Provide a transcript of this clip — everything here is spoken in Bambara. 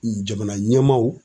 Jamana ɲɛmaaw